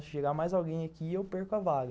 Se chegar mais alguém aqui, eu perco a vaga.